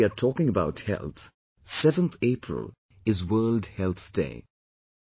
Now that we are talking about health, 7th April is World Health Day